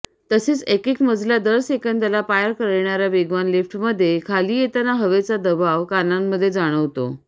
तसेच एकेक मजला दर सेकंदाला पार करणाऱ्या वेगवान लिफ्टमध्ये खाली येताना हवेचा दबाव कानांमध्ये जाणवतो